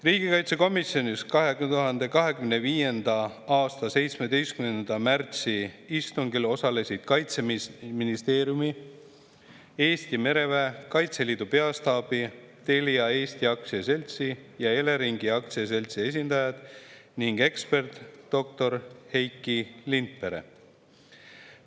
Riigikaitsekomisjoni 2025. aasta 17. märtsi istungil osalesid Kaitseministeeriumi, Eesti mereväe, Kaitseliidu peastaabi, Telia Eesti Aktsiaseltsi ja Eleringi Aktsiaseltsi esindajad ning ekspert doktor Heiki Lindpere.